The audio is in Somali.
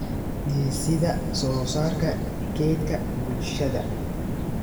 Dhisidda Soosaarka Kaydka Bulshada